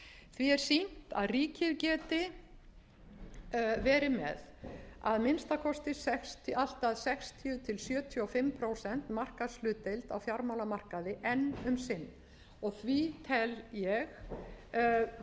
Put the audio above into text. því er sýnt að ríkið geti verið með að minnsta kosti allt að sextíu til sjötíu og fimm prósenta markaðshlutdeild á fjármálamarkaði enn um sinn og því tel ég frú forseti og tek undir